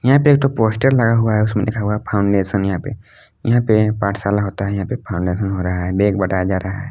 यहां पे एक ठो पोस्टर लगा हुआ है उसमें लिखा हुआ है फाउंडेशन यहां पे यहां पे पाठशाला होता है यहां पर फाउंडेशन हो रहा है बेग बटाया जा रहा है।